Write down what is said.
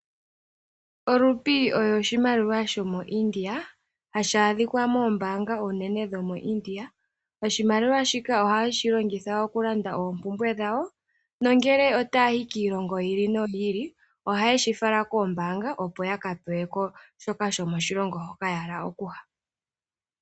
Olupi yo oshimaliwa sho moIdia, hashi aadhika moombanga oonene dho mo Idia, oshimaliwa shika oha ye shilongitha okulanda oompumbwe dhawo. Nongele ota ya yi kiilongo yi ili noyi ili, oha ye shi fala koombanga opo ya ka pewe ko shoka shomoshilongo moka ya hala oku ya.